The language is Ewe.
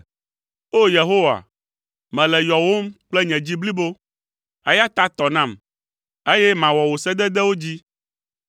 O! Yehowa, mele yɔwòm kple nye dzi blibo, eya ta tɔ nam, eye mawɔ wò sededewo dzi.